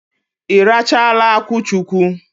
Ị rachaala akwụchukwu?